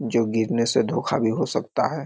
जो गिरने से धोखा भी हो सकता है।